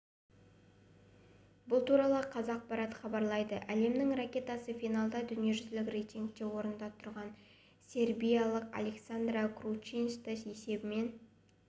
бұл туралы қазақпарат хабарлайды әлемнің ракеткасы финалда дүниежүзілік рейтингте орында тұрған сербиялық александра круничті есебімен